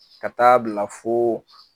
Ka t'a 'a bila fo